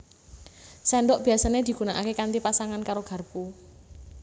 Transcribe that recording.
Sendhok biyasané digunaké kanthi pasangan karo garpu